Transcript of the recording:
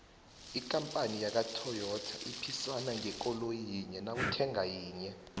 ikampani yakwatoyita iphisana ngekoloyi yinye nawuthenga yinye